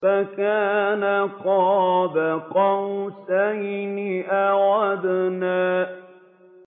فَكَانَ قَابَ قَوْسَيْنِ أَوْ أَدْنَىٰ